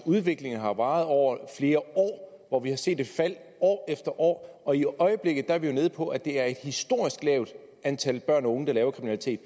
udviklingen har varet over flere år hvor vi har set et fald år efter år og i øjeblikket er vi jo nede på at det er et historisk lavt antal børn og unge der laver kriminalitet